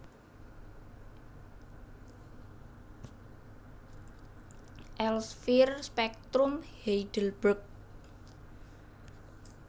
Elsvier Spektrum Heidelberg